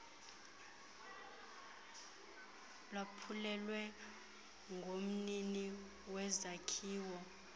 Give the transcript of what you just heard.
lwaphulwe ngumnini wezakhiwo